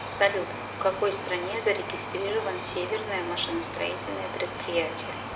салют в какой стране зарегистрирован северное машиностроительное предприятие